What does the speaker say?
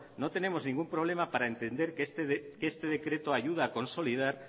no tenemos ningún problema para entender que este decreto ayuda a consolidar